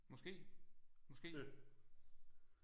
Måske måske